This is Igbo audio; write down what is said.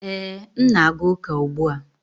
Ee, m na-aga ụka ugbu a